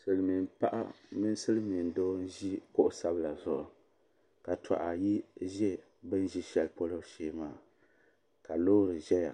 Silimiin paɣa mini Silimiin doo n ʒi kuɣu sabla zuɣu ka toha ayi ʒi bini be luɣu sheli polo shee maa ka loori ʒɛya